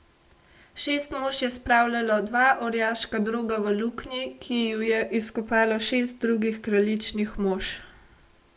Šest mož je spravljalo dva orjaška droga v luknji, ki ju je izkopalo šest drugih kraljičinih mož.